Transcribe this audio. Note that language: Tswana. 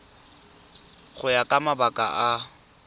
go ya ka mabaka a